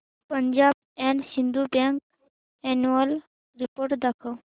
Punjab and Sind bank annual report दाखव